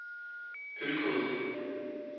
Ølgod